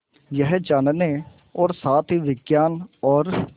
यह जानने और साथ ही विज्ञान और